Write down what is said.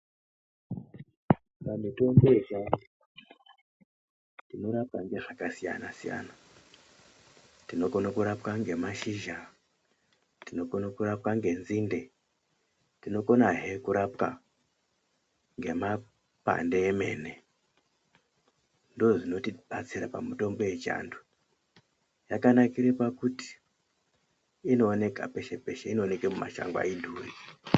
Mitombo yechiantu inorape ngezvakasiyana siyana .Tinokona kurapwa ngemashizha ,tinokona kurapwa ngenzinde ,tinokonahe kurapiwa ngemakwande emene ndozvinotibatsira pamutombo yechiantu. Yakanakira pakuit inooneka peshe peshe inooneka mumashango ayidhuri.